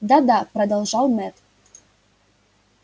да да продолжал мэтт